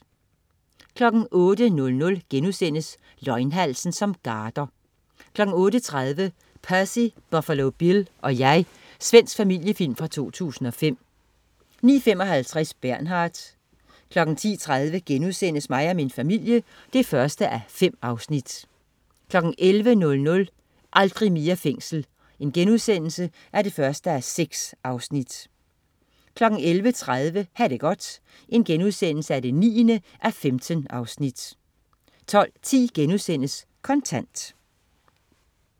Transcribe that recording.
08.00 Løgnhalsen som garder* 08.30 Percy, Buffalo Bill og Jeg. Svensk familiefilm fra 2005 09.55 Bernard 10.30 Mig og min familie 1:5* 11.00 Aldrig mere fængsel 1:6* 11.30 Ha' det godt 9:15* 12.10 Kontant*